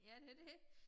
Ja det det